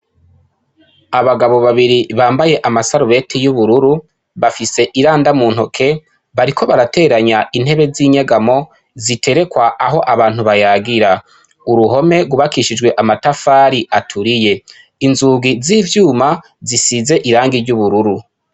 Abagabo babiri bambaye amasarubeti y' ubururu, bafise iranda mu ntoke, bariko barateranya intebe z' inyegamo ziterekwa aho abantu bayagira. Uruhome rwubakishijwe amatafari aturiye. Inzugi z' ivyuma zisize irangi ry' ubururu.